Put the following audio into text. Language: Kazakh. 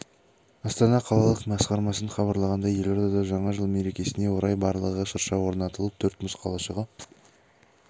астана қалалық мәдениет басқармасынан хабарлағандай елордада жаңа жыл мерекесіне орай барлығы шырша орнатылып төрт мұз қалашығы